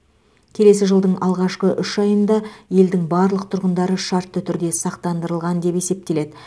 келесі жылдың алғашқы үш айында елдің барлық тұрғындары шартты түрде сақтандырылған деп есептеледі